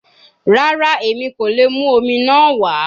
Rara, Emi ko le mu omi naa wa